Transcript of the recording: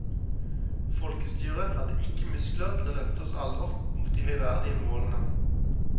Folkestyret hadde ikke muskler til å løfte oss alle opp mot de høyverdige målene.